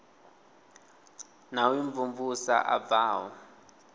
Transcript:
na u imvumvusa a bvaho